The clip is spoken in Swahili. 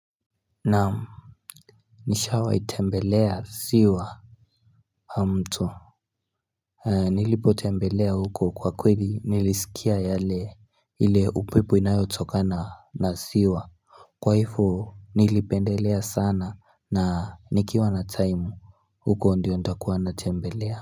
Naam Nishawa itembelea siwa mtu Nilipo tembelea huko kwa kweli nilisikia yale ile upepo inayotokana na siwa Kwaifu nilipendelea sana na nikiwa na time huko ndiyo nitakuwa natembelea.